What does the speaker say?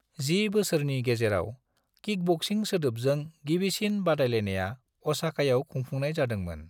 जि बोसोरनि गेजेराव, किकबक्सिं सोदोबजों गिबिसिन बादायलायनाया असाकायाव खुंफुंनाय जादोंमोन।